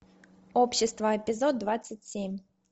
общество эпизод двадцать семь